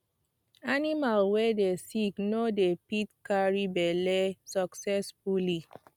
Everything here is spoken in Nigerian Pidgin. animal wey dey sick no dey fit carry belle succesfully